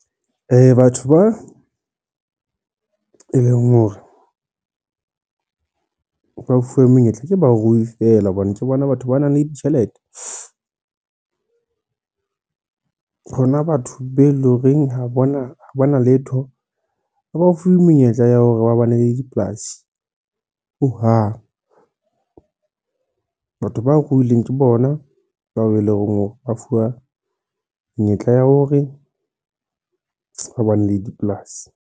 Batho ba e leng hore ba fuwe menyetla, ke barui feela hobane ke bona batho ba nang le ditjhelete. Rona batho be eleng horeng ha bana letho ha ba fuwe menyetla ya hore ba bane le dipolasi, hohang. Batho ba ruileng ke bona bao eleng hore ba fuwa menyetla ya hore ba bane le dipolasi.